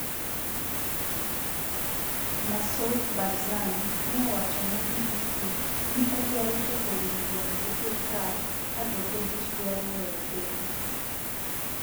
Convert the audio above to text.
Massoud Barzani ne owacho ne BBC ni odwaro chopo winjruok gi sirikal ka jo Kurdish dwaro weyo piny.